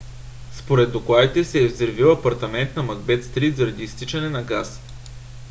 според докладите се е взривил апартамент на макбет стрийт заради изтичане на газ